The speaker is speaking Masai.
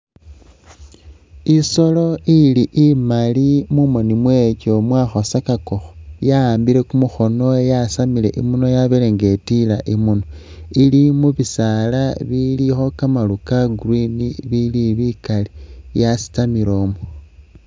Isoolo ili imaali mumooni mwayo utuuya uri yakhosakakakho ya'ambile kumukhono yasamile imunwa yabeele nga itiila imuunwa. Ili mu bisaala bilikho kamaaru ka green ibili bikaali yasitamile umwo.